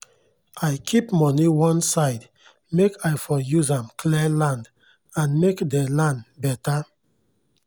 i keep moni oneside make i for use amd clear land and make dey land beta